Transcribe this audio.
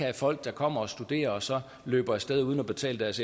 har folk der kommer og studerer og så løber af sted uden at betale deres